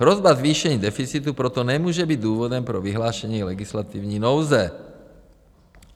Hrozba zvýšení deficitu proto nemůže být důvodem pro vyhlášení legislativní nouze.